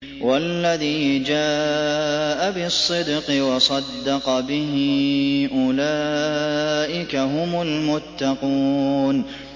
وَالَّذِي جَاءَ بِالصِّدْقِ وَصَدَّقَ بِهِ ۙ أُولَٰئِكَ هُمُ الْمُتَّقُونَ